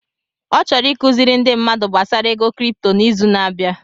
Ọ chọrọ ịkụziri ndi mmadụ gbasara ego cripto n'izu na-abịa.